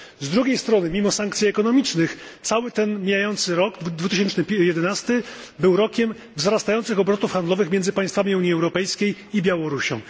Z drugiej strony, mimo sankcji ekonomicznych, cały ten mijający rok 2011 był rokiem wzrastających obrotów handlowych między państwami Unii Europejskiej i Białorusią.